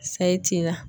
Sayi tin na